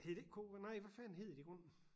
Hed det ikke ko nej hvad fanden hed det i grunden?